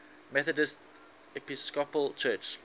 methodist episcopal church